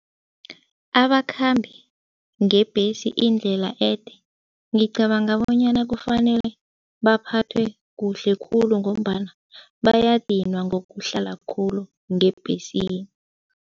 Abakhambi ngebhesi indlela ede ngicabanga bonyana kufanele baphathwe kuhle khulu ngombana bayadinwa ngokuhlala khulu ngebhesini.